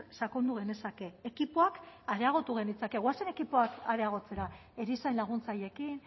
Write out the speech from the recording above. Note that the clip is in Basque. sakondu genezake ekipoak areagotu genitzake goazen ekipoak areagotzera erizain laguntzaileekin